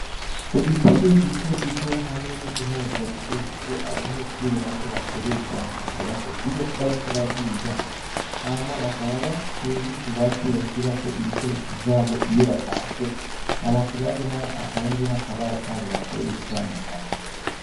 Udutebe duto duto hamwe n'utumeza duto duto abanyeshre bato bakoresha mukwicarako iyo bariko bariga, hama bakaba bafise n'utubati bashirako ibikoresho vyabo iyo batashe, hama kuruhande naho hakaba hariho akabaho kabo bakoresha mukwandika.